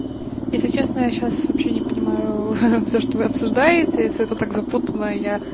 если честно я сейчас вообще не понимаю всё что вы обсуждаете всё это так запутано я